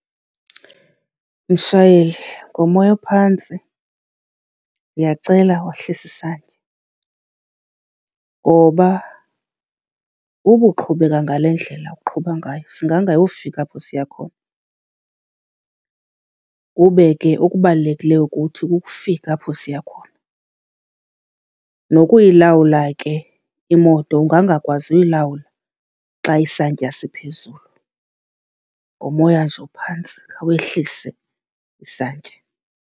Mshayeli, ngomoya ophantsi ndiyacela wehlise isantya ngoba uba uqhubeka ngale ndlela oqhuba ngayo singangayofika apho siya khona. Kube ke okubalulekileyo kuthi kukufika apho siya khona, nokuyilawula ke imoto ungangakwazi uyilawula xa isantya siphezulu. Ngomoya nje ophantsi khawehlise isantya.